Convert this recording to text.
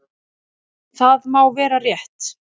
Það má vera rétt.